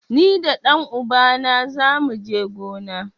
Ni da ɗan uba na zamu je gona.